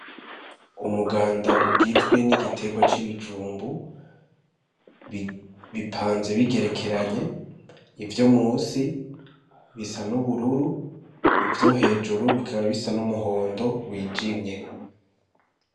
Umuganda ugizwe n'igitegwa c'ibijumbu bipanze bigerekeranye ivyo musi bisa n'ubururu ivyo hejuru bikaba bisa n'umuhondo wijimye.